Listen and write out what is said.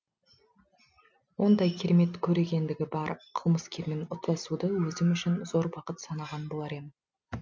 ондай керемет көрегендігі бар қылмыскермен ұстасуды өзім үшін зор бақыт санаған болар ем